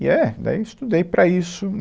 E é, daí eu estudei para isso.